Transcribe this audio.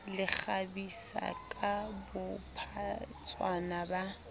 le kgabisa ka bophatshwana ba